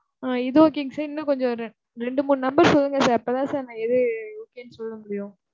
ஆஹ் இது okay ங்க sir இன்னும் கொஞ்சம் ரெண்டு மூணு number சொல்லுங்க sir. அப்ப தான் நான் எது okay ன்னு சொல்ல முடியும்.